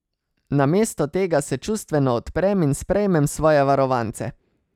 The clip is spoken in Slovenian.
Namesto tega se čustveno odprem in sprejmem svoje varovance.